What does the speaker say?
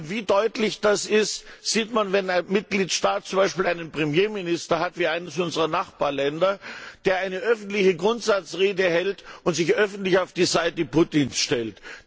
Wie deutlich das ist, sieht man, wenn ein Mitgliedstaat zum Beispiel einen Premierminister hat wie eines unserer Nachbarländer der eine öffentliche Grundsatzrede hält und sich öffentlich auf die Seite Putins stellt.